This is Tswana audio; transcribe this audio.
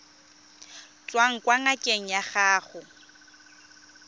tswang kwa ngakeng ya gago